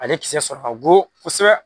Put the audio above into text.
Ale kisɛ sɔrɔ ka go kosɛbɛ